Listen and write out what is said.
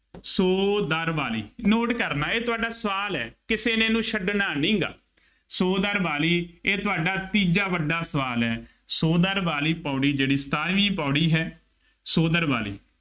ਸੋ ਦਰ ਵਾਲੀ, note ਕਰਨਾ ਇਹ ਤੁਹਾਡਾ ਸਵਾਲ ਹੈ, ਕਿਸੇ ਨੇ ਇਹਨੂੰ ਛੱਡਣਾ ਨਹੀਂ, ਸੋ ਦਰ ਵਾਲੀ ਇਹ ਤੁਹਾਡਾ ਤੀਜਾ ਵੱਡਾ ਸਵਾਲ ਹੈ। ਸੋ ਦਰ ਵਾਲੀ ਪੌੜੀ ਜਿਹੜੀ ਸਤਾਰਵੀਂ ਪੌੜੀ ਹੈ, ਸੋ ਦਰ ਵਾਲੀ